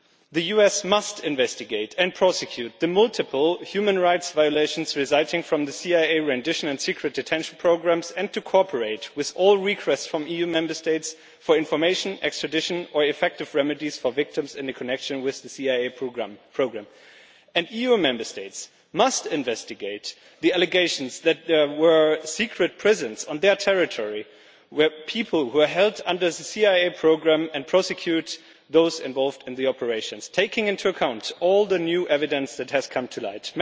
The US must investigate and prosecute the multiple human rights violations resulting from the CIA rendition and secret detention programmes, and cooperate with all requests from EU Member States for information, extradition or effective remedies for victims in connection with the CIA programme. EU Member States must investigate the allegations that there were secret prisons on their territory where people were held under the CIA programme, and prosecute those involved in the operations, taking into account all the new evidence that has come to light.